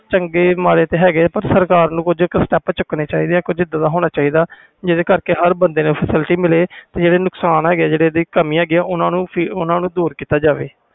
ਚੰਗੇ ਮਾਰੇ ਤੇ ਹੈ ਗਏ ਆ ਸਰਕਾਰ ਨੂੰ ਕੁਛ setup ਚੁੱਕਣੇ ਚਾਹੀਦੇ ਆ ਕੁਛ ਇਹਦਾ ਦਾ ਹੋਣਾ ਚਾਹੀਦਾ ਆ ਜਿੰਦੇ ਕਰਕੇ ਹਰ ਬੰਦੇ ਨੂੰ facility ਮਿਲੇ ਤੇ ਜਿਹੜੇ ਨੁਕਸਾਨ ਹੈ ਗਏ ਆ ਜਿਹੜੀਆਂ ਕਾਮਿਆਂ ਹੈ ਗਿਆ ਓਹਨੂੰ ਦੂਰ ਕੀਤਾ ਜਾਵੇ